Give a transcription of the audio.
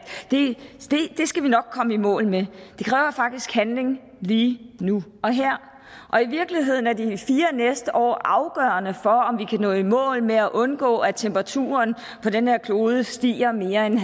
det skal vi nok komme i mål med det kræver faktisk handling lige nu og her og i virkeligheden er de fire næste år afgørende for om vi kan nå i mål med at undgå at temperaturen på den her klode stiger mere end